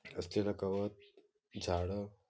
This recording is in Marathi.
असलेलं कव्हर जाड --